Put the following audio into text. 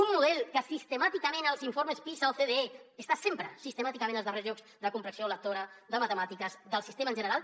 un model que als informes pisa ocde està sempre sistemàticament als darrers llocs de comprensió lectora de matemàtiques del sistema en general